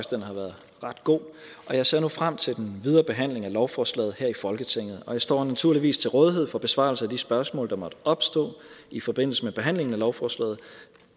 den har været ret god og jeg ser nu frem til den videre behandling af lovforslaget her i folketinget og jeg står naturligvis til rådighed for besvarelse af de spørgsmål der måtte opstå i forbindelse med behandlingen af lovforslaget